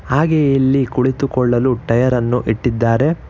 ಹಾಗೆ ಇಲ್ಲಿ ಕುಳಿತುಕೊಳ್ಳಲು ಟಯರ್ ಅನ್ನು ಇಟ್ಟಿದ್ದಾರೆ.